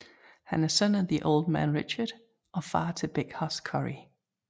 Han er søn af The Old Man Richard og far til Big Hoss Corey